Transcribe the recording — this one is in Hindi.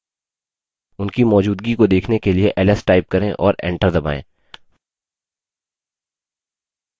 उनकी मौजूदगी को देखने के लिए ls type करें और enter दबायें